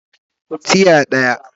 Tiya daya